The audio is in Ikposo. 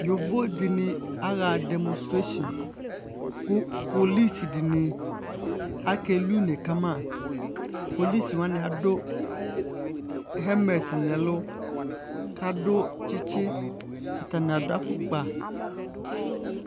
Yovo dɩnɩ aɣa demostreshin kʋ polɩs dɩnɩ akelɩ ʋne kamǝ Polɩs alʋanɩ adʋ hɛmɛt nɛlʋ kadʋ tsɩtsɩ atanɩ adʋ afʋkpa